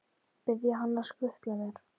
Biðja hann að skutla sér?